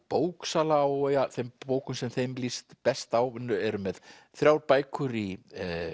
bóksala á þeim bókum sem þeim líst best á eru með þrjár bækur í